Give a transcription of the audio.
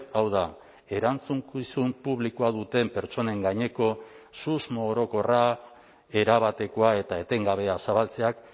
hau da erantzukizun publikoa duten pertsonen gaineko susmo orokorra erabatekoa eta etengabea zabaltzeak